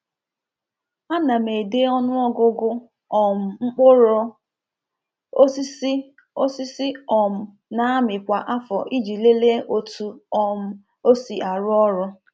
A na m-ede ọnụ ọgụgụ um mkpụrụ osisi osisi um na-amị kwa afọ iji lelee otu um o si arụ ọrụ.